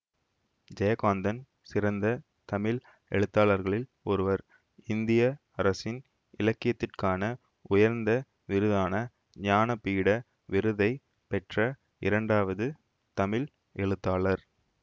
ஜெயகாந்தன் சிறந்த தமிழ் எழுத்தாளர்களில் ஒருவர் இந்திய அரசின் இலக்கியத்திற்கான உயர்ந்த விருதான ஞான பீட விருதை பெற்ற இரண்டாவது தமிழ் எழுத்தாளர்